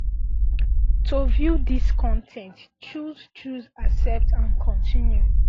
to view dis con ten t choose choose accept and continue